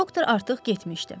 Doktor artıq getmişdi.